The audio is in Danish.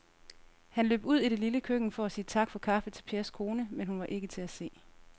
Han løb ud i det lille køkken for at sige tak for kaffe til Pers kone, men hun var ikke til at se.